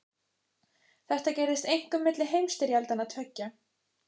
Þetta gerðist einkum milli heimsstyrjaldanna tveggja.